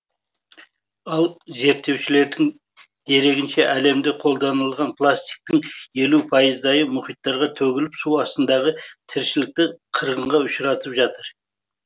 ал зерттеушілердің дерегінше әлемді қолданылған пластиктің елу пайыздайы мұхиттарға төгіліп су астындағы тіршілікті қырғынға ұшыратып жатыр